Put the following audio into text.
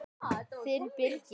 Þinn Birgir.